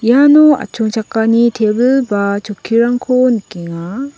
iano atchongchakani tebil ba chokkirangko nikenga.